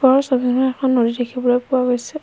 ওপৰৰ ছবিখনত এখন নদী দেখিবলৈ পোৱা গৈছে।